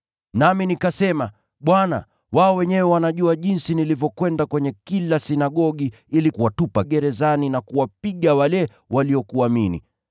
“Nami nikasema, ‘Bwana, wao wenyewe wanajua jinsi nilivyokwenda kwenye kila sinagogi ili kuwatupa gerezani na kuwapiga wale waliokuamini.